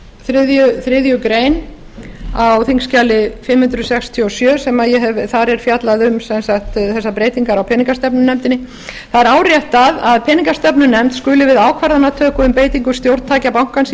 í þriðju grein á þingskjali fimm hundruð sextíu og sjö sem ég hef fjallað um sem sagt þessar breytingar á peningastefnunefndinni það er áréttað að peningastefnunefnd skuli við ákvarðanatöku um beitingu stjórntækja bankans í